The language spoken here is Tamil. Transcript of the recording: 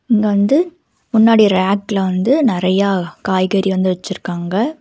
இங்க வந்து முன்னாடி ரேக்ல வந்து நெறயா காய்கறி வந்து வச்சிருக்காங்க.